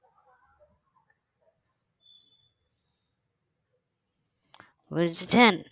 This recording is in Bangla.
বুঝেছেন